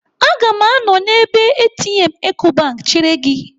Aga m anọ n'ebe ATM Ecobank chere gị.